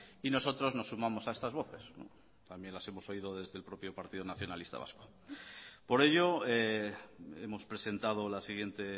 y nosotros nos sumamos a estas voces también las hemos oído desde el propio partido nacionalista vasco por ello hemos presentado la siguiente